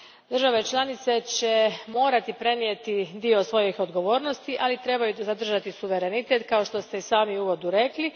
Države članice će morati prenijeti dio svojih odgovornosti, ali trebaju zadržati suverenitet, kao što ste i sami u uvodu rekli.